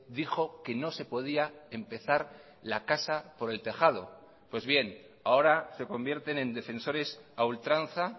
dijo que no se podía empezar la casa por el tejado pues bien ahora se convierten en defensores a ultranza